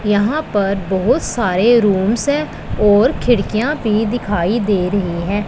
यहां पर बहोत सारे रूम्स हैं और खिड़कियां भी दिखाई दे रही है।